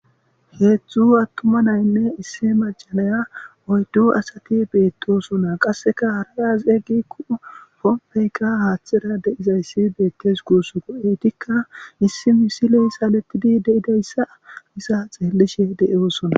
Hezhua atuma natinne issi maca Naya oyddu asati betosona qaseka hara asat quma , pompeyka hathera de'iyays betes gusuko etika issi misiley saletid de'idaysa iza xelishe dosona.